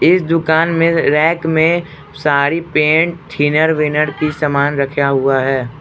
इस दुकान में रैक में सारी पैंट थिनर विनर की सामान रखा हुआ है।